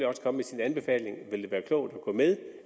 også komme med sin anbefaling vil det være klogt at gå med